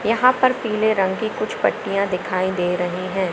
यहां पर पीले रंग की कुछ पटिया दिखाई दे रही हैं।